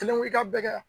Kelen wili ka bɛ